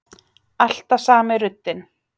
Alltaf sami ruddinn.